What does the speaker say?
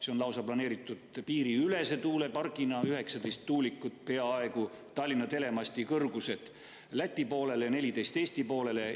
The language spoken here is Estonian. See on lausa planeeritud piiriülese tuulepargina, 19 tuulikut, mis on peaaegu Tallinna telemasti kõrgused, Läti poolele ja 14 Eesti poolele.